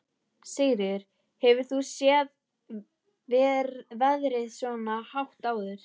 Sigríður: Hefur þú séð verðið svona hátt áður?